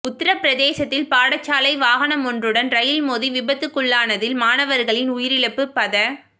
உத்தரப் பிரதேசத்தில் பாடசாலை வாகனமொன்றுடன் ரயில் மோதி விபத்துக்குள்ளானதில் மாணவர்களின் உயிரிழப்பு பத